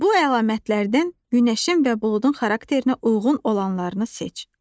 Bu əlamətlərdən günəşin və buludun xarakterinə uyğun olanlarını seç.